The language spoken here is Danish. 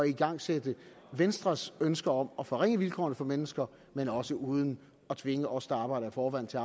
igangsætte venstres ønsker om at forringe vilkårene for mennesker men også uden at tvinge os der arbejder i forvejen til